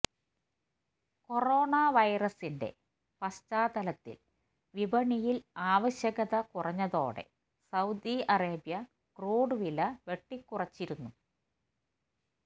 corona വൈറസിന്റെ പശ്ചാതലത്തില് വിപണിയില് ആവശ്യകത കുറഞ്ഞതോടെ സൌദി അറേബ്യ ക്രൂഡ് വില വെട്ടിക്കുറച്ചിരുന്നു